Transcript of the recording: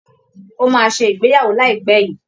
Ó máa ṣe ìgbéyàwó láìpẹ́ yìí